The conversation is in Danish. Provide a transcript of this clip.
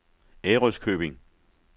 Ærøskøbing